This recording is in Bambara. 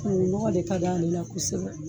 nɔgɔ de kad'ale la kosɛbɛ